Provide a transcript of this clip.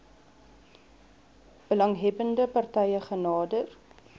belanghebbende partye genader